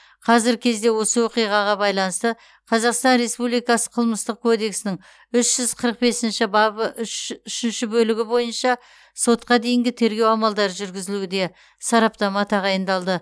қазіргі кезде осы оқиғаға байланысты қазақстан республикасы қылмыстық кодексінің үш жүз қырық бесінші бабы үш үшінші бөлігі бойынша сотқа дейінгі тергеу амалдары жүргізілуде сараптама тағайындалды